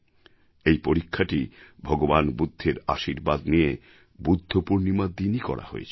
এই পরীক্ষাটি ভগবান বুদ্ধের আশীর্বাদ নিয়ে বুদ্ধ পূর্ণিমার দিনই করা হয়েছিল